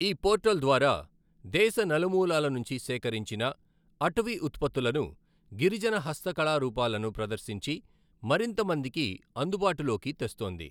ఈ పోర్టల్ ద్వారా దేశ నములూలలనుంచి సేకరించిన అటవీ ఉత్పతులను, గిరిజన హస్తకళారూపాలను ప్రదర్శించి మరింతమందికి అందుబాటులోకి తెస్తోంది.